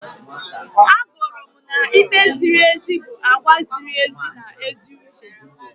Agụrụ m na ikpe ziri ezi bụ àgwà ziri ezi na ezi uche.